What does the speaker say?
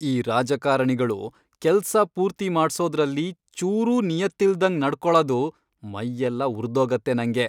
ಈ ರಾಜಕಾರಣಿಗಳು ಕೆಲ್ಸ ಪೂರ್ತಿ ಮಾಡ್ಸೋದ್ರಲ್ಲಿ ಚೂರೂ ನಿಯತ್ತಿಲ್ದಂಗ್ ನಡ್ಕೊಳದು ಮೈಯೆಲ್ಲ ಉರ್ದೋಗತ್ತೆ ನಂಗೆ.